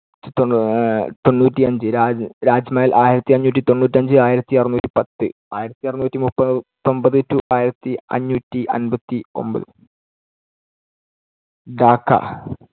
തൊണ്ണൂ~ തൊണ്ണൂറ്റിയഞ്ച്, രാജ്~ രാജ്മഹൽ ആയിരത്തിഅഞ്ഞൂറ്റി തൊണ്ണൂറ്റിയഞ്ച് ആയിരത്തിഅറുന്നൂറ്റിപ്പത്ത്, ആയിരത്തിഅറുന്നൂറ്റിമുപ്പത്തിയൊൻപത് to ആയിരത്തിഅഞ്ഞൂറ്റിഅൻപത്തിയൊൻപത് ധാക്കാ